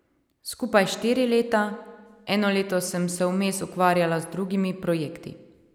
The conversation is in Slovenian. Skupaj štiri leta, eno leto sem se vmes ukvarjala z drugimi projekti.